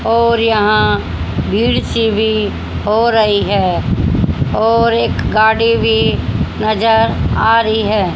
और यहां भीड़ सी भी हो रही है और एक गाड़ी भी नजर आ रही है।